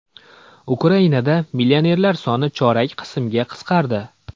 Ukrainada millionerlar soni chorak qismga qisqardi.